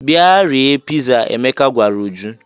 "Bịa rie piza," Emeka gwara Uju.